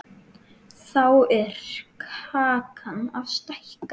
Þá er kakan að stækka.